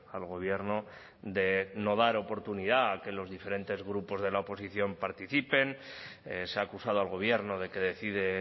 al gobierno de no dar oportunidad a que los diferentes grupos de la oposición participen se ha acusado al gobierno de que decide